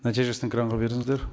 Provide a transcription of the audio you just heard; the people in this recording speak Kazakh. нәтижесін экранға беріңіздер